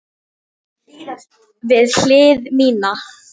Við hlið mína.